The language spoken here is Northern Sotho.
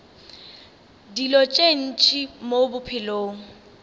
dilo tše ntši mo bophelong